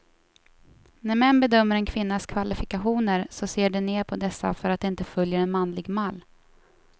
När män bedömer en kvinnas kvalifikationer så ser de ner på dessa för att de inte följer en manlig mall.